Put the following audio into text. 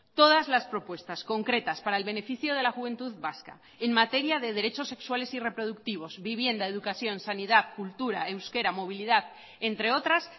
todas las propuestas concretas para el beneficio de la juventud vasca en materia de derechos sexuales y reproductivos vivienda educación sanidad cultura euskera movilidad entre otras